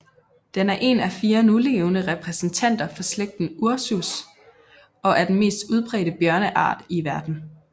Den er en af fire nulevende repræsentanter for slægten Ursus og er den mest udbredte bjørneart i verden